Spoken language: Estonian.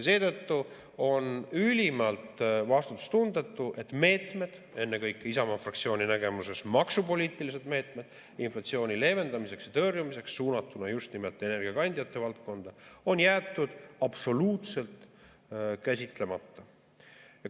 Seetõttu on ülimalt vastutustundetu, et meetmed, ennekõike Isamaa fraktsiooni nägemuses maksupoliitilised meetmed inflatsiooni leevendamiseks ja tõrjumiseks, suunatuna just nimelt energiakandjate valdkonda, on jäetud absoluutselt käsitlemata.